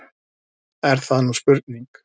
Er það nú spurning!